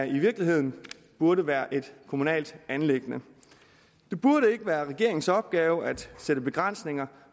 i virkeligheden burde være et kommunalt anliggende det burde ikke være regeringens opgave at sætte begrænsninger